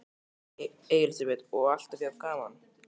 Elísabet: Og alltaf jafn gaman?